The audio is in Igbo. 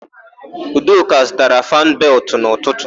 Udoka zụtara fannụ beltụ n'ụtụtụ.